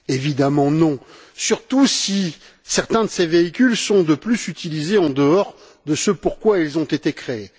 Évidemment que non! Surtout si certains de ces véhicules sont, de plus, utilisés en dehors de ce pourquoi ils ont été créés.